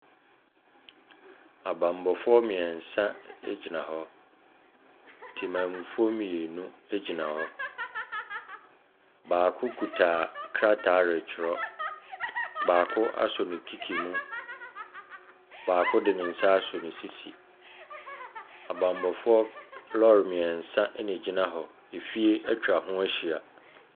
Abammɔfoɔ mmiɛnsa gyina hɔ, temanmufoɔ mmienu gyina hɔ, baako kita krataa retwerɛ, baako asɔ ne kiki mu, baako de ne nsa asɔ ne sisi, abammɔfoɔ lɔɔre mmiɛnsa na ɛgyina hɔ, fie atwa ho ahyia.